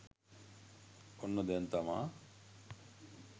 ඔන්න දැං තමා